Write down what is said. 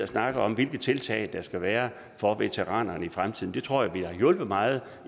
snakket om hvilke tiltag der skal være for veteranerne i fremtiden det tror jeg ville have hjulpet meget